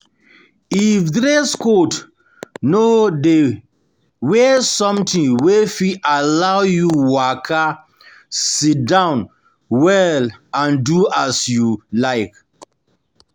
If dress code no de wear something wey fit allow you waka, sit-down you waka, sit-down well and do as you like